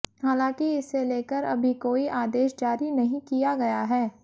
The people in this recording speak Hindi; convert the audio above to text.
हालांकि इसे लेकर अभी कोई आदेश जारी नहीं किया गया है